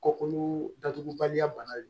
Kɔkɔolu datugubaliya bana don